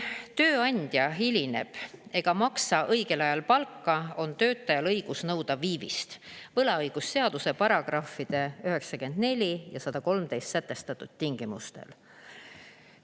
Kui tööandja hilineb ega maksa õigel ajal palka, on töötajal õigus nõuda viivist võlaõigusseaduse §-de 94 ja 113 sätestatud tingimustel.